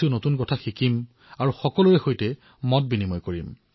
নতুন কথা শিকিম আৰু সকলোৰে সৈতে বিনিময় কৰিম